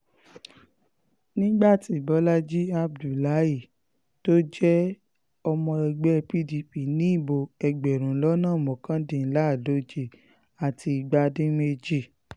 nígbà tí bọ́làjì abdullahi tó jẹ́ ọmọ ẹgbẹ́ pdp ní ìbò ẹgbẹ̀rún lọ́nà mọ́kàdínláàádóje àti igba dín méje